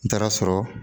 N taara sɔrɔ